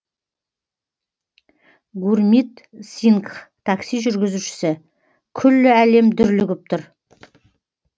гурмит сингх такси жүргізушісі күллі әлем дүрлігіп тұр